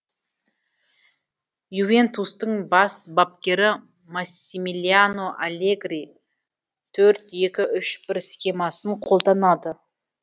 ювентустың бас бапкері массимилиано аллегри төрт екі үш бір схемасын қолданады